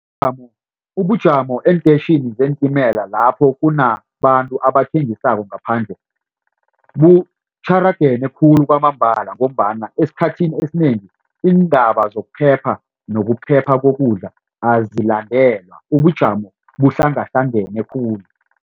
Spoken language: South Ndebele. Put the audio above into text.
Ubujamo eentetjhini zeentimela lapho kunabantu abathengisako ngaphandle butjharagene khulu kwamambala ngombana esikhathini esinengi iindaba zokuphepha nokuphepha kokudla azilandelwa ubujamo buhlanganahlangene khulu.